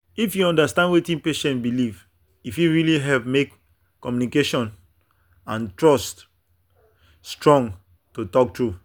if you understand wetin patient believe e fit really help make communication and trust strong to talk true.